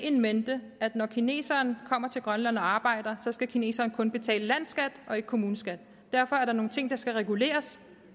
in mente at når kineseren kommer til grønland og arbejder skal kineseren kun betale landsskat og ikke kommuneskat derfor er der nogle ting der skal reguleres